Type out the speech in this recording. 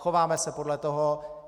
Chováme se podle toho.